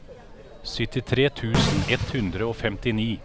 syttitre tusen ett hundre og femtini